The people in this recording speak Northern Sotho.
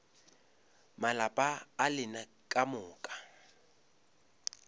malapa a lena ka moka